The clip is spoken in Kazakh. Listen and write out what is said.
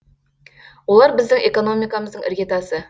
олар біздің экономикамыздың іргетасы